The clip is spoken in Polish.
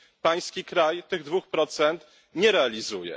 Pański kraj tych dwóch procent nie realizuje.